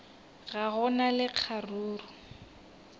ga go na le kgaruru